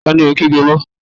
Ta ni ò ń kígbe mọ́?